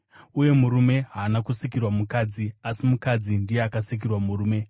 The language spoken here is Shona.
uye murume haana kusikirwa mukadzi, asi mukadzi ndiye akasikirwa murume.